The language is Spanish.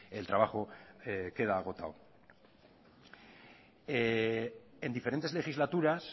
el trabajo queda agotado en diferentes legislaturas